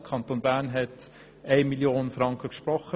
Der Kanton Bern hat bisher 1 Mio. Franken gesprochen.